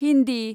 Hindi